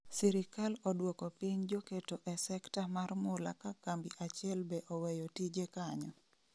sirikal oduoko piny joketo e sekta mar mula ka kambi achiel be oweyo tije kanyo